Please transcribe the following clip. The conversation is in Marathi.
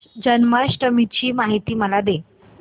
जन्माष्टमी ची माहिती मला दे